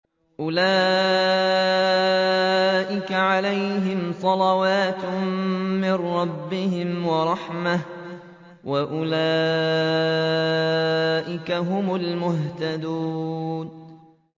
أُولَٰئِكَ عَلَيْهِمْ صَلَوَاتٌ مِّن رَّبِّهِمْ وَرَحْمَةٌ ۖ وَأُولَٰئِكَ هُمُ الْمُهْتَدُونَ